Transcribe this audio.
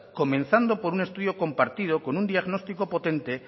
comenzando por un estudio compartido con un diagnóstico potente